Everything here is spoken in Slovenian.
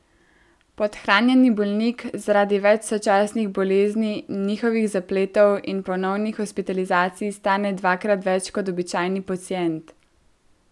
Podhranjeni bolnik zaradi več sočasnih bolezni, njihovih zapletov in ponovnih hospitalizacij stane dvakrat več kot običajni pacient.